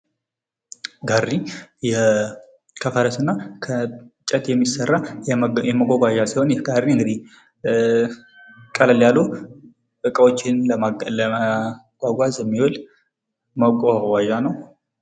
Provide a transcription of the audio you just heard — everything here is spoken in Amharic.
ጋሪ ከፈረስና ከእንጨት የሚሠራ መጓጓዣ ሲሆን ይህ ጋሪ እንግዲህ ቀለል ያሉ እቃዎችን ለማጓጓዝ የሚውል መጓጓዣ ነው።